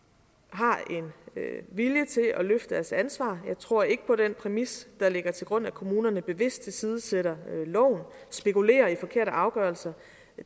har en vilje til at løfte deres ansvar jeg tror ikke på den præmis der ligger til grund om at kommunerne bevidst tilsidesætter loven spekulerer i forkerte afgørelser